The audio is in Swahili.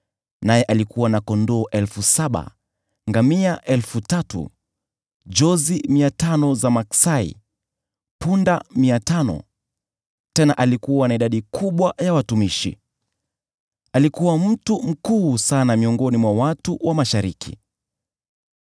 naye alikuwa na kondoo elfu saba, ngamia elfu tatu, jozi mia tano za maksai, na punda mia tano, tena alikuwa na idadi kubwa ya watumishi. Alikuwa mtu mkuu sana miongoni mwa watu wa Mashariki.